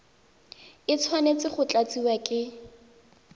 e tshwanetse go tlatsiwa ke